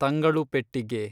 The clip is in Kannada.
ತಂಗಳುಪೆಟ್ಟಿಗೆ